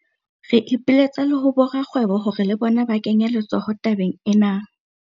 Re ipiletsa le ho borakgwebo hore le bona ba kenye letsoho tabeng ena.